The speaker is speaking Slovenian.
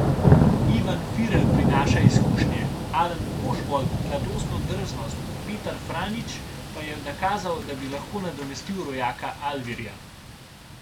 Ivan Firer prinaša izkušnje, Alen Ožbolt mladostno drznost, Petar Franjić pa je nakazal, da bi lahko nadomestil rojaka Alvirja.